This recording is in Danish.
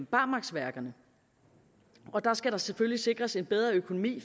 barmarksværkerne der skal der selvfølgelig sikres en bedre økonomi